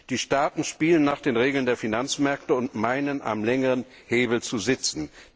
Die Staaten spielen nach den Regeln der Finanzmärkte und meinen, am längeren Hebel zu sitzen.